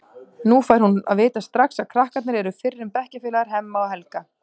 Nú fær hún að vita strax að krakkarnir eru fyrrum bekkjarfélagar Hemma og Helga.